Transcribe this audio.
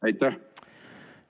Aitäh!